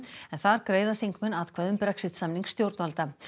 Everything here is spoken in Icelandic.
en þar greiða þingmenn atkvæði um Brexit samning stjórnvalda